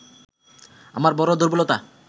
আমার বড় দুর্বলতা